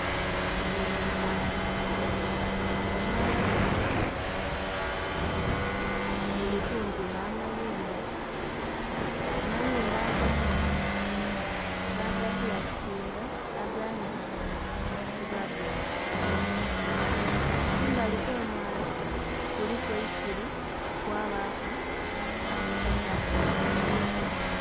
Guno mwala, omwala guno guli kumpi nh'amayumba. Amayumba agandhi bagabbulastinga, agandhi tibabbulastinga. Kumbali kw'omwala kuliku eisubi kwabaaku nhi kasasilo.